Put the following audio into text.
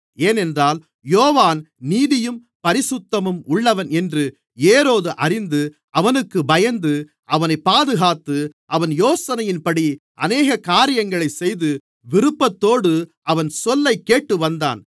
ஏனென்றால் யோவான் நீதியும் பரிசுத்தமும் உள்ளவன் என்று ஏரோது அறிந்து அவனுக்குப் பயந்து அவனைப் பாதுகாத்து அவன் யோசனையின்படி அநேகக் காரியங்களைச் செய்து விருப்பத்தோடு அவன் சொல்லைக் கேட்டுவந்தான்